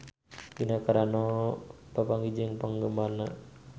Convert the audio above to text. Gina Carano papanggih jeung penggemarna